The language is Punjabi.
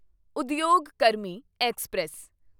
ਉਦਯੋਗ ਕਰਮੀ ਐਕਸਪ੍ਰੈਸ